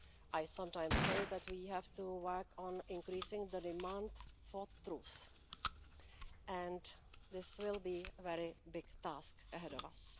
I sometimes say that we have to work on increasing the demand for truth, and this will be a very big task ahead of us.